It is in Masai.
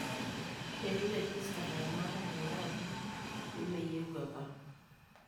Eitu eregesta ilaramatak tenkaraki imeyieu apa.